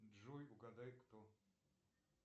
джой угадай кто